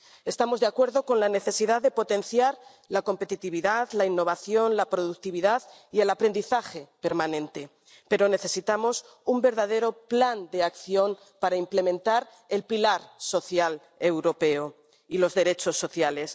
Estamos de acuerdo en que es necesario potenciar la competitividad, la innovación, la productividad y el aprendizaje permanente, pero necesitamos un verdadero plan de acción para implementar el pilar social europeo y los derechos sociales.